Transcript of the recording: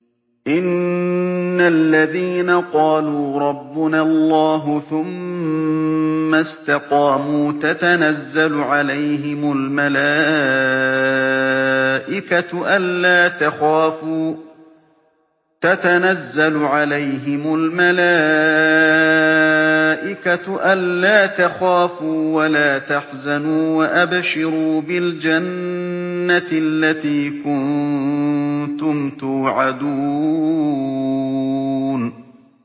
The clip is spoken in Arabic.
إِنَّ الَّذِينَ قَالُوا رَبُّنَا اللَّهُ ثُمَّ اسْتَقَامُوا تَتَنَزَّلُ عَلَيْهِمُ الْمَلَائِكَةُ أَلَّا تَخَافُوا وَلَا تَحْزَنُوا وَأَبْشِرُوا بِالْجَنَّةِ الَّتِي كُنتُمْ تُوعَدُونَ